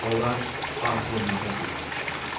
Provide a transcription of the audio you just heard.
Onlar artırmada dayanmışdılar.